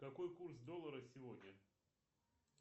какой курс доллара сегодня